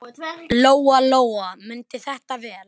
Lóa-Lóa mundi þetta vel.